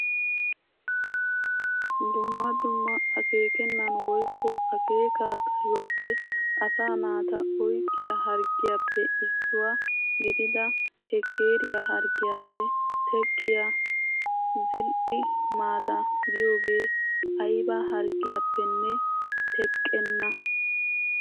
Dumma dumma akeekenan woykko akeekaa xayuwaappe asaa naata oyqqiyaa harggiyaappe issuwaa gidida shekeriyaa harggiyaappe teqqiyaa "Zil"i maataa" giyoogee ayba harggiyaappenne teqenna!